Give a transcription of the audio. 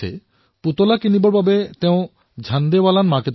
আপোনালোকৰ বহুতেই জানে যে দিল্লীৰ এই বজাৰখন চাইকেল আৰু খেলা সামগ্ৰীৰ বাবে বিখ্যাত